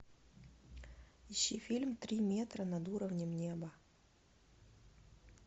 ищи фильм три метра над уровнем неба